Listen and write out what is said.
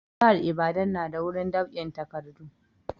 Jihar ibadan na da gurin dab'in takadu